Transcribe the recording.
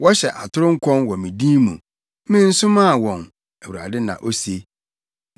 Wɔhyɛ atoro nkɔm wɔ me din mu. Mensomaa wɔn,” Awurade na ose.